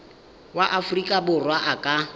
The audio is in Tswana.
wa aforika borwa a ka